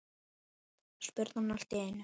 spurði hann allt í einu.